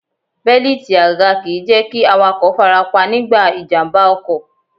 Bẹ́líìti àga kìí jẹ́ kí awakọ̀ farapa nígbà ìjàmbá ọkọ̀.